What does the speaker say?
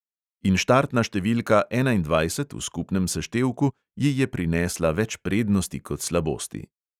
In štartna številka enaindvajset v skupnem seštevku ji je prinesla več prednosti kot slabosti.